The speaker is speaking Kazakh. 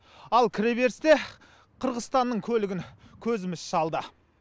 ал кіреберісте қырғызстанның көлігін көзіміз шалды